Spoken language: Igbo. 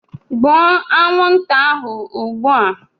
Gbuo anwụnta ahụ ugbu a!